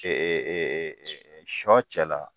Ee sɔ cɛla